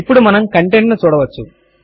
ఇప్పుడు మనము కంటెంట్ ను చూడవచ్చు